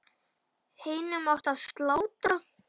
Hinum átti að slátra.